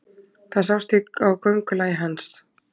Það sást á göngulagi hans.